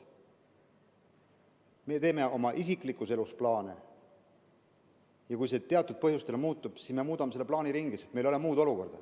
Me teeme oma isiklikus elus plaane ja kui elu teatud põhjustel muutub, siis me muudame seda plaani, sest meil ei ole muud võimalust.